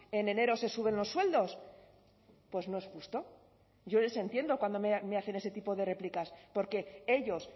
en enero se suben los sueldos pues no es justo yo les entiendo cuando me hacen ese tipo de réplicas porque ellos